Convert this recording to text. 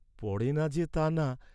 পড়ে না যে তা না।